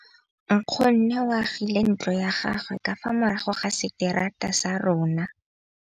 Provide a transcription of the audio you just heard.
Nkgonne o agile ntlo ya gagwe ka fa morago ga seterata sa rona.